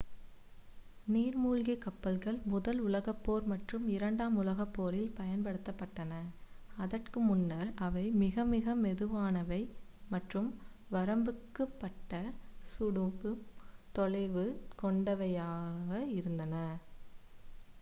நீர்மூழ்கிக் கப்பல்கள் முதல் உலகப்போர் மற்றும் இரண்டாம் உலகப்போரில் பயன்படுத்தப்பட்டன அதற்கு முன்னர் அவை மிக மிக மெதுவானவை மற்றும் வரம்புக்குட்பட்ட சுடும் தொலைவு கொண்டவையாக இருந்தன